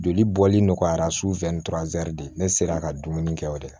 Joli bɔli nɔgɔyara su fɛ ni de ne sera ka dumuni kɛ o de la